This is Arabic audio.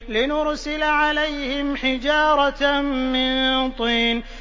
لِنُرْسِلَ عَلَيْهِمْ حِجَارَةً مِّن طِينٍ